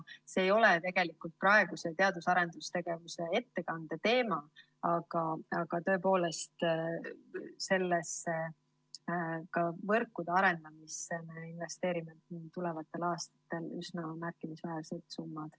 See ei ole tegelikult praeguse teadus‑ ja arendustegevuse ettekande teema, aga ka võrkude arendamisse me investeerime tulevatel aastatel tõepoolest üsna märkimisväärsed summad.